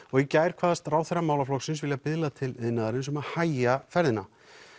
og í gær kvaðst ráðherra málaflokksins vilja biðla til iðnaðarins um að hægja ferðina